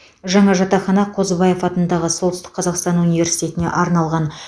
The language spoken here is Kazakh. жаңа жатақхана қозыбаев атындағы солтүстік қазақстан университетіне арналған